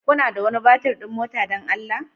Kuna da wani batir ɗin mota don Allah?